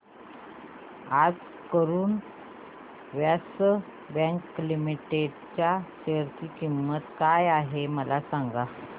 आज Karur Vysya bank limited च्या share ची किंमत काय आहे मला सांगा